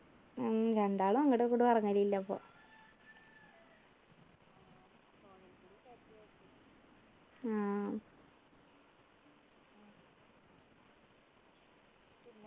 ഉം രണ്ടാളും അങ്ങുടും ഇങ്ങുടും ഇറങ്ങലില്ലപ്പൊ ആഹ്